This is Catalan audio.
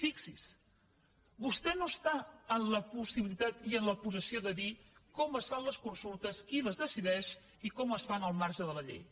fixi s’hi vostè no està ni en la possibilitat ni en la possessió de dir com es fan les consultes qui les decideix i com es fan al marge de la llei